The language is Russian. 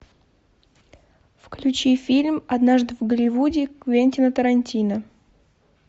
включи фильм однажды в голливуде квентина тарантино